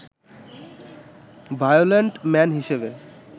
violent man হিসেবে